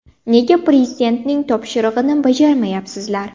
Nega Prezidentning topshirig‘ini bajarmayapsizlar?